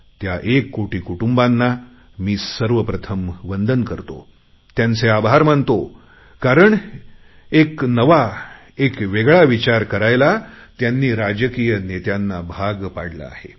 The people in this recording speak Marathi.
त्या एक कोटी कुटुंबांना मी सर्वप्रथम वंदन करतो त्यांचे आभार मानतो कारण एक नवा एक वेगळा विचार करायला त्यांनी राजकीय नेत्यांना भाग पाडलं आहे